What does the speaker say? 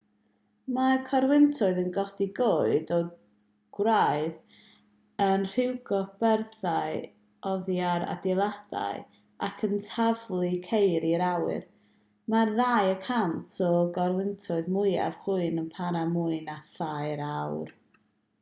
mae corwyntoedd yn codi coed o'r gwraidd yn rhwygo byrddau oddi ar adeiladau ac yn taflu ceir i'r awyr mae'r ddau y cant o gorwyntoedd mwyaf chwyrn yn para mwy na thair awr